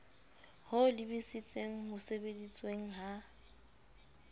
ho lebisitseng ho sebedisweng ha